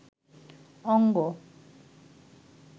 অঙ্গ